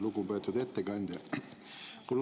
Lugupeetud ettekandja!